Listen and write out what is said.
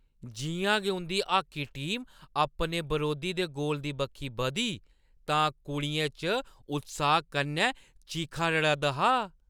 जिʼयां गै उंʼदी हाॅकी टीम अपने बरोधी दे गोल दी बक्खी बधी तां कुड़ियें च उत्साह कन्नै चीखां-रड़द्द हा।